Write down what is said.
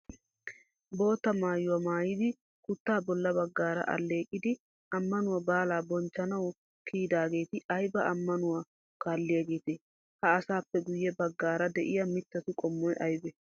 Bootta maayuwaa maayidi, kutaa bolla baggaara alleeqiidi ammanuwaa baalaa bonchchanawu kiyidaageeti ayba ammanuwaa kaalliyaageetee? Ha asaappe guyye baggaara de'iyaa mittatu qommoy aybee?